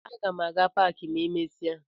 Aga m aga na paakị ma emesịa